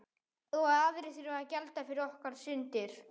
Og aðrir þurfa að gjalda fyrir okkar syndir.